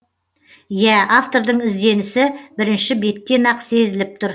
иә автордың ізденісі бірінші беттен ақ сезіліп тұр